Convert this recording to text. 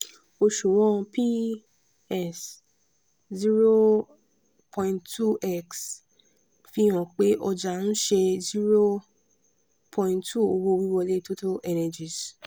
òṣùwọ̀n p/s zero point two zero x fi hàn pé ọjà ń ṣe zero point two owó wíwọlé total energies.